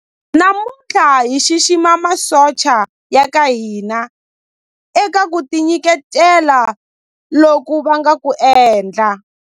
Namuntlha hi xixima masocha ya ka hina eka ku tinyiketela loku va nga ku endla.